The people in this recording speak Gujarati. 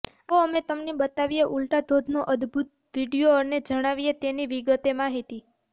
આવો અમે તમને બતાવીએ ઉલટા ધોધનો અદ્બુત વીડિયો અને જણાવીએ તેની વિગતે માહિતી